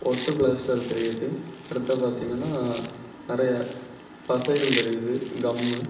ஒட்டு பிளாஸ்டர் தெரியுது அடுத்து பார்த்தீங்கன்னா நெறைய பசைகள் தெரியுது கம்மு .